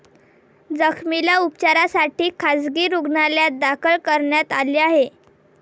जखमीला उपचारासाठी खासगी रूग्णालयात दाखल करण्यात आले आहे.